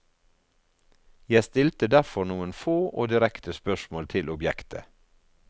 Jeg stilte derfor noen få og direkte spørsmål til objektet.